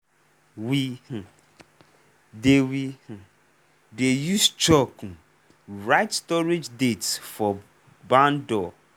we um dey we um dey use chalk um write storage date for barn door.